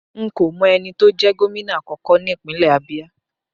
Nko mo eni to je gomina akoko nipinle Abia